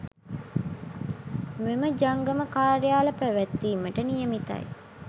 මෙම ජංගම කාර්යාල පැවැත්වීමට නියමිතයි